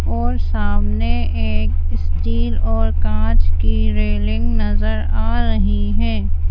और सामने एक स्टील और कांच की रेलिंग नजर आ रही है।